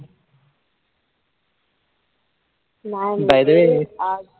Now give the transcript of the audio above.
by the way